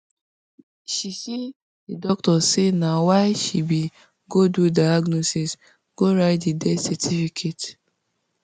she say di doctor say na wia she bin go do diagnosis go write di death certificate